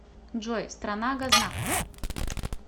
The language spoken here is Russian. джой страна гознак